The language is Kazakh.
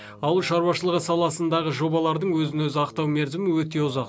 ауыл шаруашылығы саласындағы жобалардың өзін өзі ақтау мерзімі өте ұзақ